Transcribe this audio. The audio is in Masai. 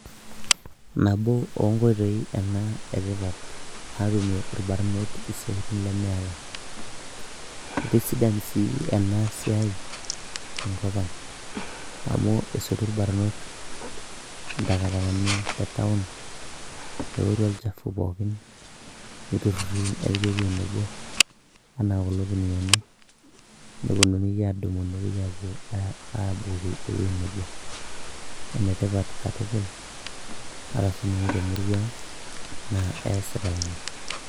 nabo onkoitoi ena etipat natumie irbarnot isiatin lemeeta itisidan sii ena siai enkop ang amu esotu irbarnot intakatakani te town neworu olchafu pookin niturruri nepiki ewueji nebo anaa kulo kuniani neponunui adumu nepuoi apuo abukoki ewueji nebo enetipat katukul ata sininye temurua ang naa eesitae ina.